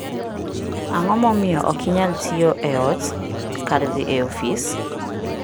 Ang'o momiyo ok inyal tiyo e ot kar dhi e ofis?